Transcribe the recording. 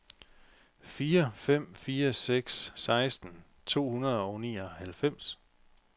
fire fem fire seks seksten to hundrede og nioghalvfems